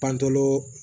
Pantolo